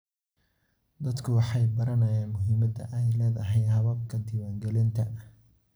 Dadku waxay baranayaan muhimadda ay leedahay hababka diiwaangelinta.